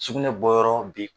Sugunɛ bɔyɔrɔ bi